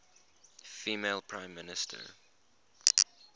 female prime minister